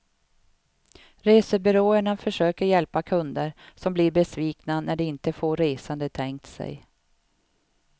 Resebyråerna försöker hjälpa kunder som blir besvikna när de inte får resan de tänkt sig.